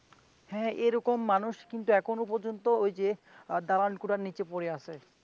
হ্যাঁ এরকম মানুষ কিন্তু এখনো পর্যন্ত ওই যে আহ তাড়ানকুরার নীচে পড়ে আছে।